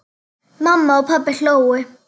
Mamma og pabbi hlógu.